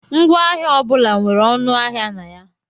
Ngwaahịa ọ bụla nwere ọnụ ahịa na ya.